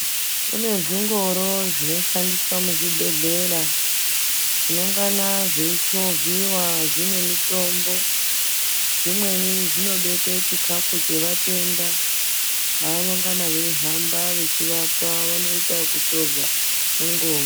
Kune zvingoro zvinoshandiswa muzvibhedhlera zvinongana zveichovhiva zvine mutombo. Zvimweni zvinobekwe chikafu chevatenda evanongana vechihamba vachivapa vanoita kuchovha mungoro.